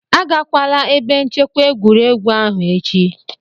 Agakwala ebe nchekwa egwuregwu ahụ echi!